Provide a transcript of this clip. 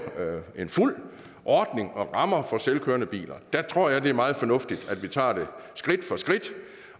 en fuld ordning og lave rammer for selvkørende biler der tror jeg at det er meget fornuftigt at vi tager det skridt for skridt